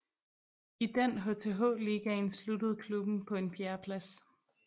I den HTH Ligaen sluttede klubben på en fjerdeplads